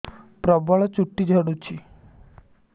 ପ୍ରବଳ ଚୁଟି ଝଡୁଛି